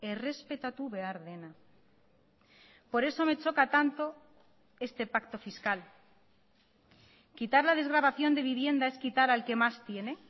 errespetatu behar dena por eso me choca tanto este pacto fiscal quitar la desgravación de vivienda es quitar al que más tiene